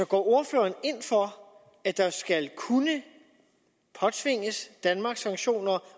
går ordføreren ind for at der skal kunne påtvinges danmark sanktioner